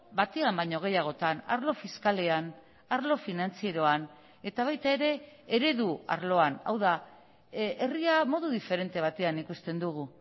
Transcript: batean baino gehiagotan arlo fiskalean arlo finantzieroan eta baita ere eredu arloan hau da herria modu diferente batean ikusten dugu